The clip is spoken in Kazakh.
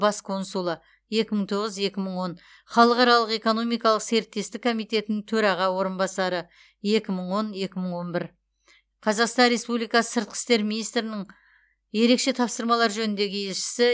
бас консулы екі мың тоғыз екі мың он халықаралық экономикалық серіктестік комитетінің төраға орынбасары екі мың он екі мың он бір қазақстан роеспубликасы сыртқы істер министрінің ерекше тапсырмалар жөніндегі елшісі